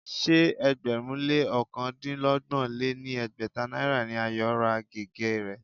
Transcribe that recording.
Ṣé ẹgbẹ̀rún lé ọ̀kandínọgbọ̀n lé ní ẹgbẹ́ta náírà ni Ayo ra gègé rẹ̀